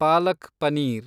palak paneer